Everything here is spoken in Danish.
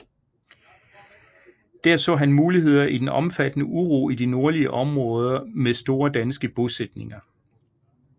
Der så han muligheder i den omfattende uro i de nordlige områder med store danske bosætninger